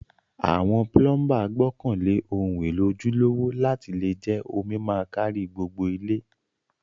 Àwon plumber gbókàn lé oun élò ojúlówó láti le je omi ma kárí gbogbo ilé